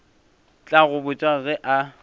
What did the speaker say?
tla go botša ge a